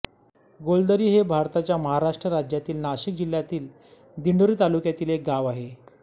गोलदरी हे भारताच्या महाराष्ट्र राज्यातील नाशिक जिल्ह्यातील दिंडोरी तालुक्यातील एक गाव आहे